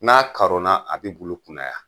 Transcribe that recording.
N'a karonna a bi bulu kunnaya.